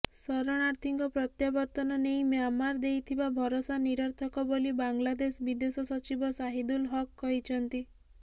ଶରଣାର୍ଥୀଙ୍କ ପ୍ରତ୍ୟାବର୍ତ୍ତନ ନେଇ ମ୍ୟାମାଁର ଦେଇଥିବା ଭରସା ନିରର୍ଥକ ବୋଲି ବାଂଲାଦେଶ ବିଦେଶ ସଚୀବ ଶାହୀଦୁଲ ହକ କହିଛନ୍ତି